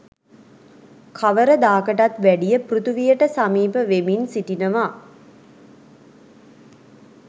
කවරදාකටත් වැඩිය පෘථිවියට සමීප වෙමින් සිටිනවා.